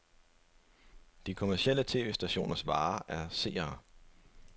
De kommercielle tv-stationers vare er seere.